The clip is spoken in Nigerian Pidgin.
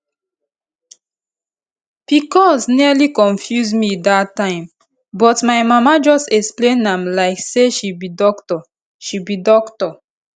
pcos nearly confuse me that time but my mama just explain am like say she be doctor she be doctor